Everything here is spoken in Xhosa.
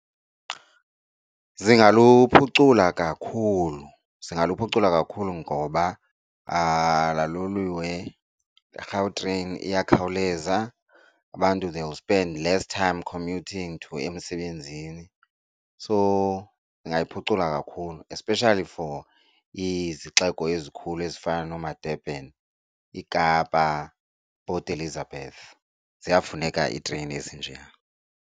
Zingaluphucula kakhulu, zingaluphucula kakhulu ngoba laa loliwe, iGautrain iyakhawuleza, abantu they will spend less time commuting to emisebenzini. So lingayiphucula kakhulu especially for izixeko ezikhulu ezifana noomaDurban, iKapa, Port Elizabeth, ziyafuneka iireyini ezinjeya.